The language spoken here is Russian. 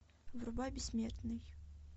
врубай бессмертный